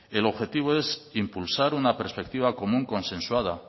el objetivo es impulsar una perspectiva común consensuada